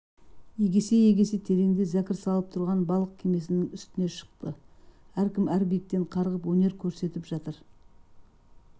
егесе-егесе тереңде зәкір салып тұрған балық кемесінің үстіне шықты әркім әр биіктен қарғып өнер көрсетіп жатыр